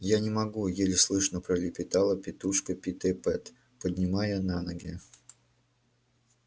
я не могу еле слышно пролепетала тётушка питтипэт поднимаясь на ноги